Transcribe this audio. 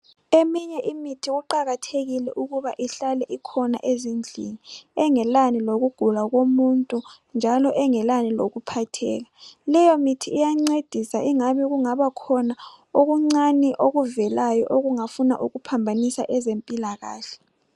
Imithi kuqakathekile ukuthi ihlale ikhona ezindlini engelani lokugula komuntu engelani lokuphatheka iyangcedisa ingabe kungabakhona okuncane okuvelayo okungafuna ukuphambanisa kwezempilakahle